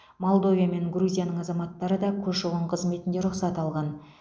молдовия мен грузияның азаматтары да көші қон қызметінде рұқсат алған